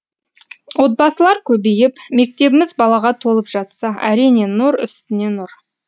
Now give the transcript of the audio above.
отбасылар көбейіп мектебіміз балаға толып жатса әрине нұр үстіне нұр